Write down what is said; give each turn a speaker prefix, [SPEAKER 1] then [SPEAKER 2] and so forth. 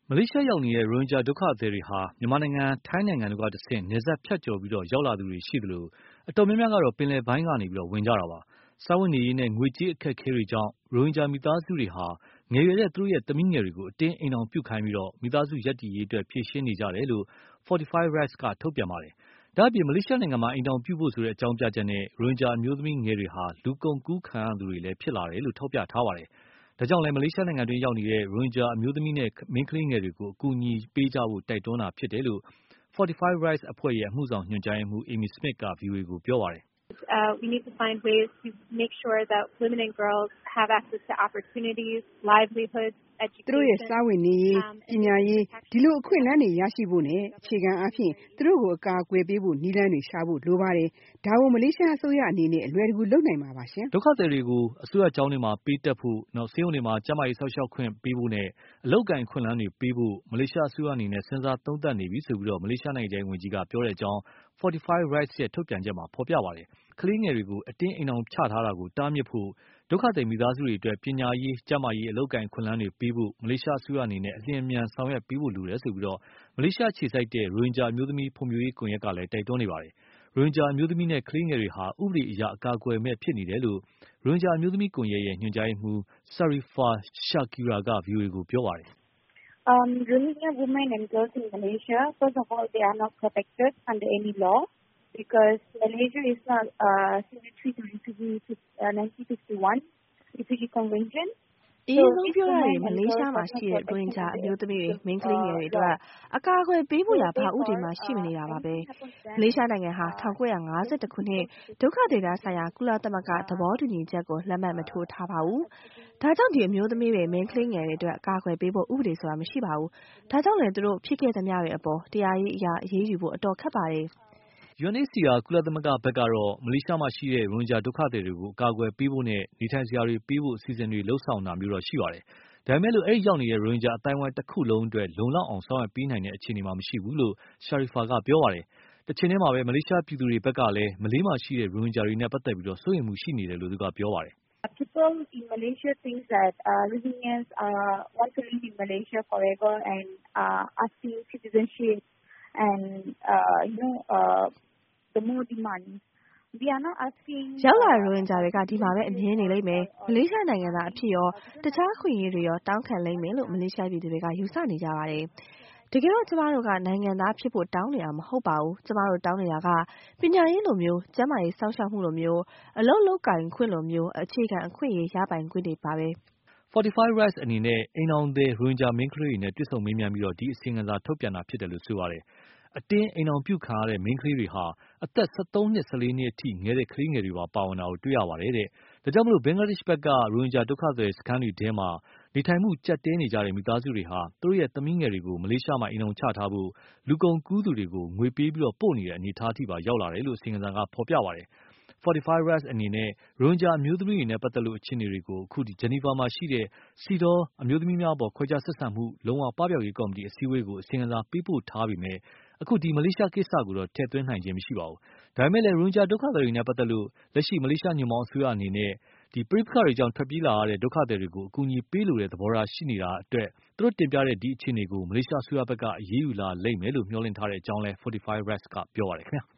[SPEAKER 1] မလေးရှားရောက်နေတဲ့ ရိုဟင်ဂျာဒုက္ခသည်တွေဟာ မြန်မာနိုင်ငံ၊ ထိုင်းနိုင်ငံတို့က တဆင့် နယ်စပ်ဖြတ်ကျော်ပြီးတော့ ရောက်လာတဲ့သူတွေရှိသလို အတော်များများကတော့ ပင်လယ်ပိုင်းကနေပြီးတော့ ဝင်ကြတာပါ။ စားဝတ်နေရေးနဲ့ ငွေကြေးအခက်အခဲတွေကြောင့် ရိုဟင်ဂျာမိသားစုတွေဟာ ငယ်ရွယ်တဲ့သူ့ရဲ့သမီးငယ်တွေကို အတင်းအိမ်ထောင်ပြုခိုင်းပြီးတော့ မိသားစုရပ်တည်ရေးအတွက် ဖြေရှင်းနေကြတယ်လို့ Fortify Rights က ထုတ်ပြန်ပါတယ်။ ဒ့ါအပြင် မလေးရှားနိုင်ငံမှာ အိမ်ထောင်ပြုဖို့ဆိုတဲ့ အကြောင်းပြချက်နဲ့ ရိုဟင်ဂျာ အမျိုးသမီးငယ်တွေဟာ လူကုန်ကူးခံရသူတွေလဲ ဖြစ်လာတယ်လို့ ထောက်ပြထားပါတယ်။ ဒါကြောင့်လည်း မလေးရှားနိုင်ငံတွင်းရောက်နေတဲ့ ရိုဟင်ဂျာ အမျိုးသမီးနဲ့ မိန်းကလေးငယ်တွေကို ကူညီပေးကြဖို့ တိုက်တွန်းတာဖြစ်တယ်လို့ Fortify Rights ရဲ့ အမှုဆောင်ညွှန်ကြားရေးမှူး Amy Smith က VOA ကို ပြောပါတယ်။
[SPEAKER 2] “သ
[SPEAKER 3] ူတို့ရဲ့စားဝတ်နေရေး၊ ပညာရေး ဒီလိုအခွင့်အလမ်းတွေရရှိဖို့နဲ့ အခြေခံအားဖြင့် သူတို့ကို အကာအကွယ်ပေးဖို့ နည်းလမ်းတွေရှာဖို့ လိုပါတယ်။ ဒါကို မလေးရှားအစိုးရအနေနဲ့ အလွယ်တကူလုပ်နိုင်မှာပါရှင်
[SPEAKER 1] ။” ဒုက္ခသည်တွေကို အစိုးရကျောင်းတွေမှာ ပေးတက်ဖို့၊ နောက် ဆေးရုံတွေမှာ ကျန်းမားရေးအစောင့်အရှောက်တွေပေးဖို့နဲ့ အလုပ်အကိုင် အခွင့်အလမ်းတွေပေးဖို့ မလေးရှားအစိုးရအနေနဲ့ စဉ်းစားသုံးသပ်နေပြီဆိုပြီးတော့ မလေးရှားနိုင်ငံခြားရေးဝန်ကြီးက ပြောတဲ့အကြောင်း Fortify Rightsရဲ့ ထုတ်ပြန်ချက်မှာ ဖော်ပြပါတယ်။ ကလေးငယ်တွေကို အတင်းအိမ်ထောင်ချထားတာကို တားမြစ်ဖို့ ဒုက္ခသည်မိသားစုတွေအတွက် ပညာရေး၊ ကျန်းမာရေး၊ အလုပ်အကိုင် အခွင့်အလမ်းတွေပေးဖို့ မလေးရှားအစိုးရအနေနဲ့ အလျင်အမြန် ဆောင်ရွက်ပေးဖို့လိုတယ်ဆိုပြီးတော့ မလေးရှားအခြေစိုက်တဲ့ ရိုဟင်ဂျာ အမျိုးသမီးဖံွံ့ဖြိုးရေးကွန်ရက်ကလဲ တိုက်တွန်းနေပါတယ်။ ရိုဟင်ဂျာအမျိုးသမီးနဲ့ ကလေးငယ်တွေဟာ ဥပဒေအရ အကာအကွယ်မဲ့ဖြစ်နေတယ်လို့ ရိုဟင်ဂျာ အမျိုးသမီးကွန်ရက်ရဲ့ ညွှန်ကြားရေးမှူး ဆာရီဖာရှာခီရာ ကVOA ကို ပြောပါတယ်။
[SPEAKER 2] “အရင်ဆုံးပြောရရင် မလေးရ
[SPEAKER 3] ှားမှာရှိတဲ့ ရိုဟင်ဂျာ အမျိုးသမီးတွေ၊ မိန်းကလေးငယ်တွေ အတွက် အကာအကွယ်ပေးဖို့ရာ ဘာဥပဒေမှ ရှိမနေတာပါပဲ။ မလေးရှားနိုင်ငံဟာ ၁၉၅၂ ခုနှစ် ဒုက္ခသည်များဆိုင်ရာ ကုလသမဂ္ဂ သဘောတူညီချက်ကို လက်မှတ်မထိုးထားပါဘူး။ ဒါကြောင့် ဒီအမျိုးသမီးတွေ၊ မိန်းကလေးငယ်တွေအတွက် ကာကွယ်ပေးဖို့ ဥပဒေဆိုတာ မရှိပါဘူး။ ဒါကြောင့်လဲ သူတို့ဖြစ်ခဲ့သမျှတွေကို တရားရေးအရ အရေးယူဖို့အတော်ခက်ပါတယ်။”
[SPEAKER 1] UNHCR ကုလသမဂ္ဂသက်ကတော့ မလေးရှားမှာ ရှိတဲ့ ရိုဟင်ဂျာ ဒုက္ခသည်တွေကို ကာကွယ်ပေးဖို့နဲ့ နေထိုင်စရာတွေပေးဖို့ အစီအစဉ်တွေ လုပ်ဆောင်တာမျိုးတော့ရှိပါတယ်။ ဒါပေမဲ့လို့ အဲ့ရောက်နေတဲ့ ရိုဟင်ဂျာအသိုင်းအဝိုင်းတခုလုံးအတွက် လုံလောက်အောင် ဆောင်ရွက်ပေးနိုင်တဲ့အခြေအနေမှာ မရှိဘူးလို့ ရှာရီဖာ ကပြောပါတယ်။ တချိန်ထဲမှာပဲ မလေးရှားပြည်သူတွေဘက်ကလည်း မလေးမှာရှိတဲ့ ရိုဟင်ဂျာတွေနဲ့ ပတ်သက်ပြီးတော့ စိုးရိမ်မှုရှိနေတယ်လို့ သူကပြောပါတယ်။
[SPEAKER 2] “ရောက်လာတဲ့ ရိုဟင်ဂျာတွေက ဒီမှာပဲ အမြ
[SPEAKER 3] ဲနေလိမ့်မယ်။ မလေးရှားနိုင်ငံသားအဖြစ်ရော၊ တခြားအခွင့်အရေးတွေရော တောင်းခံလိမ့်မယ်လို့ မလေးရှားပြည်သူတွေက ယူဆနေကြပါတယ်။ တကယ်တော့ ကျမတို့က နိုင်ငံသားဖြစ်ဖို့တောင်းနေတာမဟုတ်ပါဘူး။ ကျမတို့ တောင်းနေတာက ပညာရေးလိုမျိုး၊ ကျန်းမာရေးစောင့်ရှောက်မှုလိုမျိုး၊ အလုပ်လုပ်ကိုင်ခွင့်လိုမျိုး အခြေခံအခွင့်အရေး ရပိုင်ခွင့်တွေပါပဲ။
[SPEAKER 1] ” Fortify Rights အနေနဲ့ အိမ်ထောင်သည် ရိုဟင်ဂျာ မိန်းကလေးတွေနဲ့ တွေ့ဆုံမေးမြန်းပြီးတော့ ဒီအစီရင်ခံစာ ထုတ်ပြန်တာဖြစ်တယ်လို့ ဆိုပါတယ်။ အတင်းအိမ်ထောင်ပြုခံရတဲ့ မိန်းကလေးတွေဟာ အသက် ၁၃နှစ်၊ ၁၄နှစ်အထိ ငယ်တဲ့ကလေးငယ်တွေပါ ပါဝင်တာကိုတွေ့ရပါတယ်တဲ့။ ဒါကြောင့်မို့လို့ ဘင်္ဂလားဒေ့ချ်ဘက် က ရိုဟင်ဂျာဒုက္ခသည်စခန်းတွေထဲမှာ နေထိုင်မှုကျပ်တည်းနေကြတဲ့ မိသားစုတွေဟာ သူတို့ရဲ့ သမီးငယ်တွေကို မလေးရှားမှာ အိမ်ထောင်ချထားဖို့ လူကုန်ကူးသူတွေကို ငွေပေးပြီးတော့ပို့နေတဲ့ အနေအထားထိပါရောက်လာတယ်လို့ အစီရင်ခံစာက ဖော်ပြပါတယ်။ Fortify Rights အနေနဲ့ ရိုဟင်ဂျာအမျိုးသမီးတွေနဲ့ ပတ်သက်လို့အခြေအနေတွေကို ခုဒီ ဂျနီဗာမှာ ရှိတဲ့ CEDAW အမျိုးသမီးများအပေါ် ခွဲခြားဆက်ဆံမှုလုံးဝပပျောက်ရေးကော်မတီ အစည်းအဝေးကို အစီရင်ခံစာ ပေးပို့ထားပေမဲ့ ခုမလေးရှားကိစ္စကိုတော့ ထည့်သွင်းနိုင်ခြင်းမရှိပါဘူး။ ဒါပေမဲ့လည်း ရိုဟင်ဂျာ ဒုက္ခသည်တွေနဲ့ ပတ်သက်လို့ လက်ရှိညွှန့်ပေါင်းအစိုးရအနေနဲ့ ဒီပဋ္ဋိပက္ခတွေကြောင့်ထွက်ပြေးလာရတဲ့ ဒုက္ခသည်တွေကို အကူအညီပေးလိုတဲ့ သဘောထားရှိနေတာအတွက် သူတို့တင်ပြတဲ့ ဒီအခြေအနေကို မလေးရှားအစိုးရဘက်က အရေးယူလာလိမ့်မယ်လို့ မျှော်လင့်ထားတဲ့ အကြောင်းလဲ Fortify Rights က ပြောပါတယ် ခင်ဗျာ။